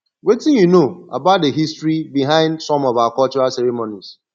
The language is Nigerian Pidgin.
wetin you know about di history behind some of our cultural ceremonies